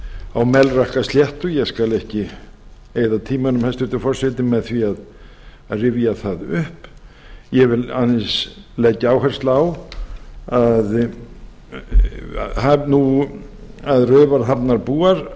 á melrakkasléttu ég skal ekki eyða tímanum hæstvirtur forseti með því að rifja það upp ég vil aðeins leggja áherslu á að raufarhafnarbúar